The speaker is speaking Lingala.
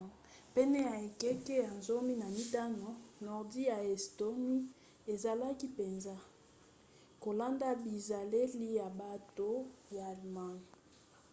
pene ya ekeke ya 15 nordi ya estonie ezalaki mpenza kolanda bizaleli ya bato ya allemagne